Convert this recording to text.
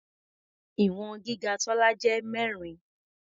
Ìwọ̀n gíga Tọ́lá jẹ́ mẹ́rin.